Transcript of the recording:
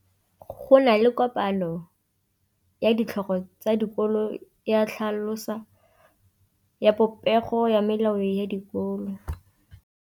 Go na le kopanô ya ditlhogo tsa dikolo ya tlhaloso ya popêgô ya melao ya dikolo.